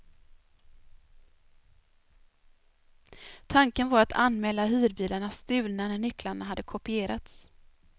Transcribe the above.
Tanken var att anmäla hyrbilarna stulna när nycklarna hade kopierats.